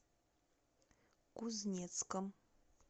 кузнецком